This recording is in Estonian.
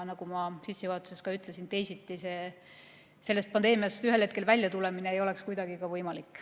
Nagu ma sissejuhatuses ütlesin, teisiti sellest pandeemiast ühel hetkel välja tulla ei oleks kuidagi võimalik.